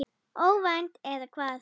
Óvænt, eða hvað?